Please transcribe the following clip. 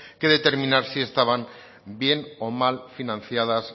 que determinar si estaban bien o mal financiadas